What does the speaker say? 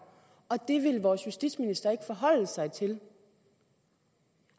og det vil vores justitsminister ikke forholde sig til